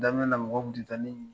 Daminɛ na mɔgɔ tun tɛ taa ne ɲini